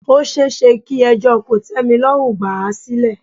Ó ṣeéṣe kí ẹjọ́ kòtẹ́milọ́rùn gbà à sílẹ̀.